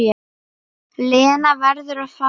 Lena verður að fara.